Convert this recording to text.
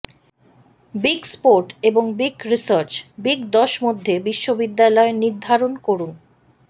big sport এবং big research big দশ মধ্যে বিশ্ববিদ্যালয় নির্ধারণ করুন